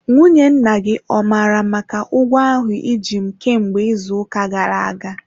Nwunye nna gị ọ mara maka ụgwọ ahụ iji m kemgbe izu uka gara aga?